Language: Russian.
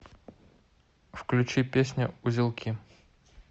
включи песня узелки